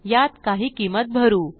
यात काही किंमती भरू